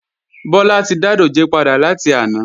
Bọ́lá ti dá dòjé padà láti àná